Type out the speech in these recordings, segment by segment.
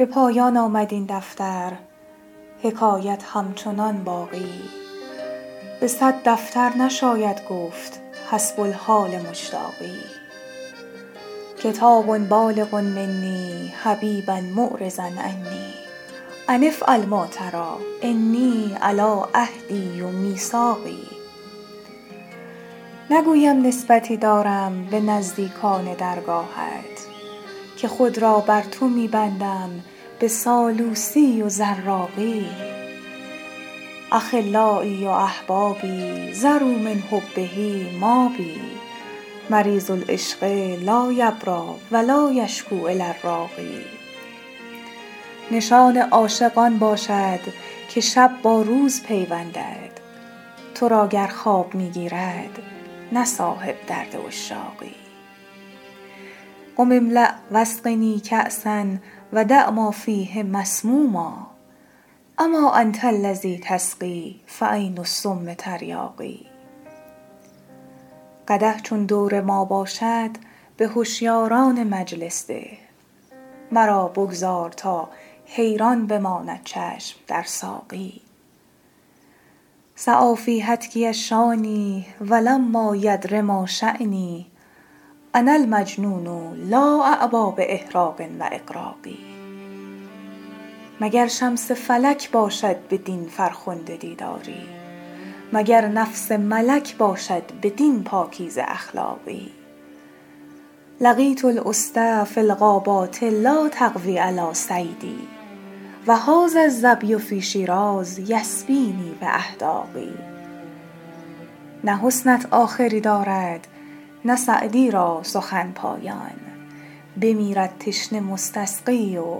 به پایان آمد این دفتر حکایت همچنان باقی به صد دفتر نشاید گفت حسب الحال مشتاقی کتاب بالغ منی حبیبا معرضا عنی أن افعل ما تری إني علی عهدی و میثاقی نگویم نسبتی دارم به نزدیکان درگاهت که خود را بر تو می بندم به سالوسی و زراقی أخلایی و أحبابی ذروا من حبه مابی مریض العشق لا یبری و لا یشکو إلی الراقی نشان عاشق آن باشد که شب با روز پیوندد تو را گر خواب می گیرد نه صاحب درد عشاقی قم املأ و اسقنی کأسا و دع ما فیه مسموما أما أنت الذی تسقی فعین السم تریاقی قدح چون دور ما باشد به هشیاران مجلس ده مرا بگذار تا حیران بماند چشم در ساقی سعی فی هتکی الشانی و لما یدر ما شانی أنا المجنون لا أعبا بإحراق و إغراق مگر شمس فلک باشد بدین فرخنده دیداری مگر نفس ملک باشد بدین پاکیزه اخلاقی لقیت الأسد فی الغابات لا تقوی علی صیدی و هذا الظبی فی شیراز یسبینی بأحداق نه حسنت آخری دارد نه سعدی را سخن پایان بمیرد تشنه مستسقی و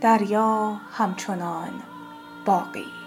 دریا همچنان باقی